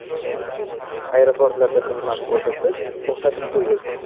Aeroportlarda xizmat ko‘rsatish to‘xtatib qo‘yildi.